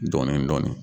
Dɔɔnin dɔɔnin